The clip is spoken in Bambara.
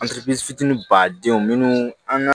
fitini badenw minnu an